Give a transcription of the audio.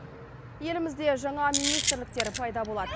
елімізде жаңа министрліктер пайда болады